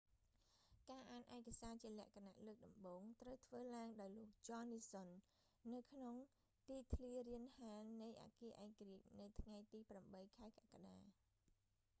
ការអានឯកសារជាសារណៈលើកដំបូង ត្រូវធ្វើឡើងដោយលោក ចន នីសុន john nixon នៅក្នុងទីធ្លារានហាលនៃអគារឯករាជ្យ នៅថ្ងៃទី8 ខែកក្កដា